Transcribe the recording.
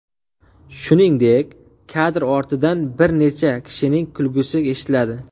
Shuningdek, kadr ortidan bir necha kishining kulgisi eshitiladi.